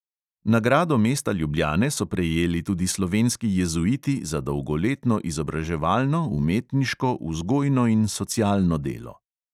Nagrado mesta ljubljane so prejeli tudi slovenski jezuiti za dolgoletno izobraževalno, umetniško, vzgojno in socialno delo.